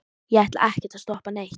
ég ætlaði ekkert að stoppa neitt.